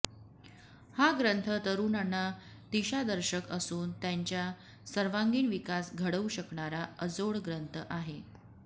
हा ग्रंथ तरुणांना दिशादर्शक असून त्यांचा सर्वांगीण विकास घडवू शकणारा अजोड ग्रंथ आहे